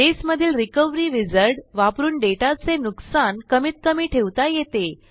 बेसमधील recovery wizard वापरून डेटाचे नुकसान कमीत कमी ठेवता येते